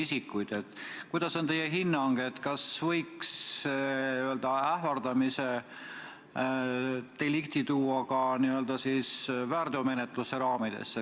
Milline on teie hinnang, kas võiks ähvardamise delikti ka väärteomenetluse raamidesse hõlmata?